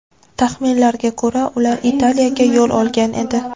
Taxminlarga ko‘ra, ular Italiyaga yo‘l olgan edi.